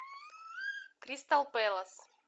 кристал пэлас